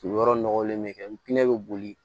Yɔrɔ nɔgɔlen bɛ ntɛnɛn bɛ boli